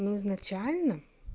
ну изначально